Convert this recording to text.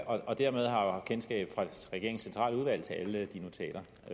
og dermed har han kendskab fra regeringens centrale udvalg til de notater